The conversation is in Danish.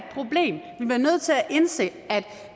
indse at